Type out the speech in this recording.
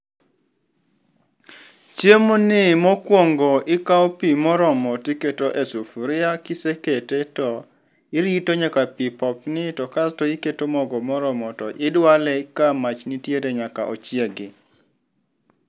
Chiemoni mokwongo ikawo pi moromo tiketo e sufuria kisekete to irito nyaka pi popni to kasto iketo mogo moromo to idwale ka mach nitiere nyaka ochiegi.